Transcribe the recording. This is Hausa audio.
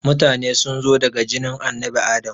Mutane sunzo daga jinin annabi Adam